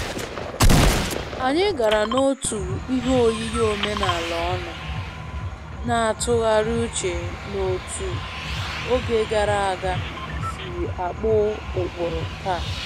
Anyị gara n'otu ihe oyiyi omenala ọnụ, na-atụgharị uche n'otú oge gara aga si akpụ ụkpụrụ taa